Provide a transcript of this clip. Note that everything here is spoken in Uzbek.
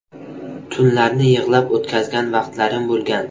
Tunlarni yig‘lab o‘tkazgan vaqtlarim bo‘lgan.